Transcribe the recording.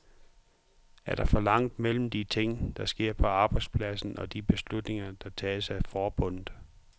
Er der for langt mellem de ting, der sker på arbejdspladsen og de beslutninger, der tages af forbundet?